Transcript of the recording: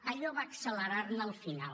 allò va accelerar ne el final